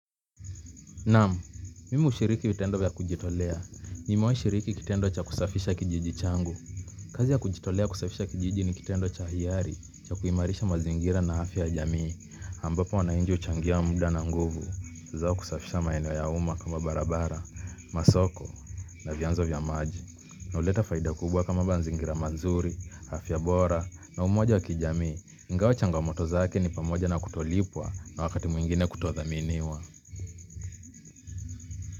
Naam, mimi hushiriki vitendo vya kujitolea. Nimewahi shiriki kitendo cha kusafisha kijiji changu. Kazi ya kujitolea kusafisha kijiji ni kitendo cha hiari cha kuimarisha mazingira na afya ya jamii ambapo wananchi huchangia muda na nguvu. Zao kusafisha maeneo ya umma kama barabara, masoko, na vianzo vya maji. Na huleta faida kubwa kama manzingira mazuri, afya bora, na umoja wa kijamii. Ingawa changamoto zake ni pamoja na kutolipwa na wakati mwengine kutothaminiwa.